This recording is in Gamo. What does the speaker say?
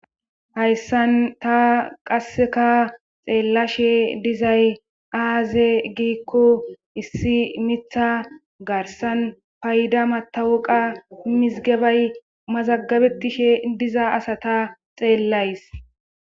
Hayssan ta qasseka xeellashe dizay aaze giikko issi mitha garsan payda matawuqa mizgebay mazagabetishe diza asata xeellays.